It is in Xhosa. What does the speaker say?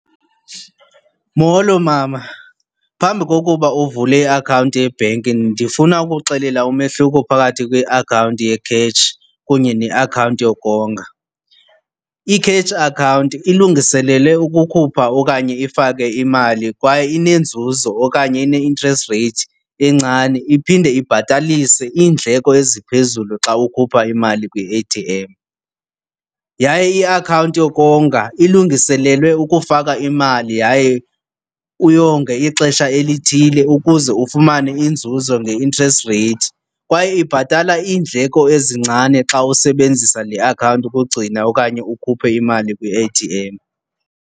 Molo mama. Phambi kokuba uvule iakhawunti yebhenki ndifuna ukuxelela umehluko phakathi kweakhawunti ye-cash kunye neakhawunti yokonga. I-cash account ilungiselelwe ukukhupha okanye ifake imali kwaye inenzuzo okanye ine-interest rate encane, iphinde ibhatalise iindleko eziphezulu xa ukhupha imali kwi-A_T_M. Yaye iakhawunti yokonga ilungiselelwe ukufaka imali yaye uyonge ixesha elithile ukuze ufumane inzuzo nge-interest rate kwaye ibhatala iindleko ezincane xa usebenzisa le akhawunti ukugcina okanye ukhuphe imali kwi-A_T_M.